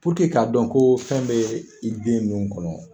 k'a dɔn ko fɛn bɛ i den nun kɔnɔ